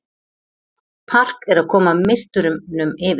Park er að koma meisturunum yfir